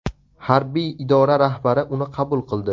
Harbiy idora rahbari uni qabul qildi.